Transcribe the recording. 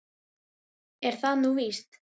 Er það nú víst?